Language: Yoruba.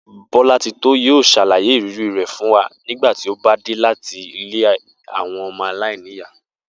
Bó̩látitó yóò s̩àlàyé ìrírí rè̩ fún wa nígbà tí ó bá dé láti ilé àwo̩n o̩mo̩ aláìníyàá